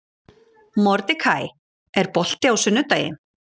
Mordekaí, er bolti á sunnudaginn?